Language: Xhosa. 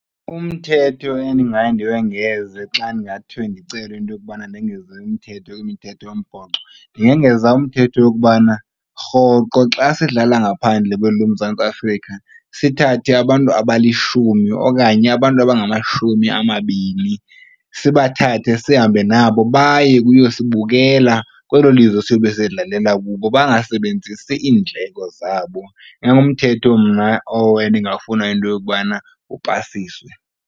Umthetho endingaye ndiwengeze xa ndingathiwe ndicelwe into yokubana ndengeze umthetho kwimithetho yombhoxo ndingongeza umthetho yokubana rhoqo xa sidlala ngaphandle kweli loMzantsi Afrika sithathe abantu abalishumi okanye abantu abangamashumi amabini, sibathathe sihambe nabo baye kuyosibukela kwelo lizwe siyobe sidlalela kulo, bangasebenzisi iindleko zabo. Ingangumthetho mna owo endingafuna into yokubana upasiswe.